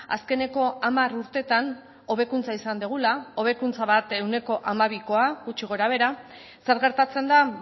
azkeneko hamar urtetan hobekuntza izan dugula hobekuntza bat ehuneko hamabikoa gutxi gorabehera zer gertatzen da